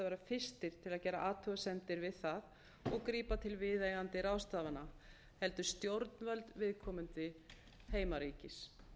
fyrstir til að gera athugasemdir við það og grípa til viðeigandi ráðstafana heldur stjórnvöld viðkomandi heimaríkis